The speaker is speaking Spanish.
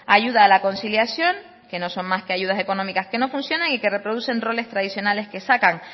ayuda a la conciliación que no son más que ayudas económicas que no funcionan y que reproducen roles tradicionales que sacan